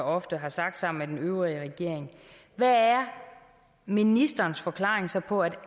ofte har sagt sammen med den øvrige regering hvad er ministerens forklaring så på at